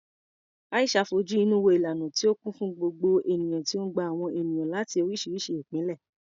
Aisha fojú inú wo ìlànà tí ó kún fún gbogbo ènìyàn tí ó ń gba àwọn ènìyàn láti oríṣiríṣi ìpìlẹ̀.